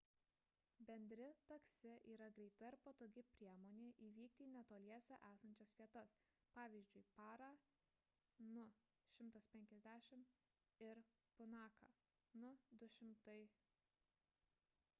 bendri taksi yra greita ir patogi priemonė nuvykti į netoliese esančias vietas pavyzdžiui parą nu 150 ir punaką nu 200